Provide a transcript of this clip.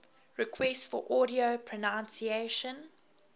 requests for audio pronunciation